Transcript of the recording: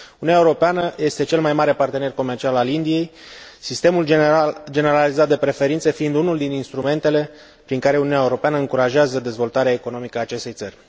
Uniunea Europeană este cel mai mare partener comercial al Indiei, sistemul generalizat de preferințe fiind unul din instrumentele prin care Uniunea Europeană încurajează dezvoltarea economică a acestei țări.